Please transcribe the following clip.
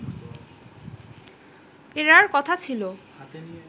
ফেরার কথা ছিল